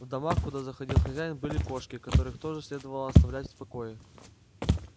в домах куда заходил хозяин были кошки которых тоже следовало оставлять в покое